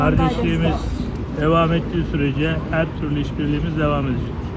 Qardaşlığımız davam etdiyi sürəcə hər türlü işbirliyimiz davam edəcək.